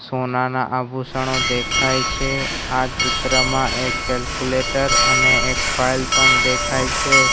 સોનાના આભૂષણો દેખાય છે આ ચિત્રમાં એક કેલ્ક્યુલેટર અને એક ફાઈલ પણ દેખાય છે.